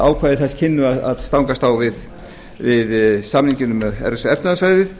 ákvæði þess kynnu að stangast á við samninginn um evrópska efnahagssvæðið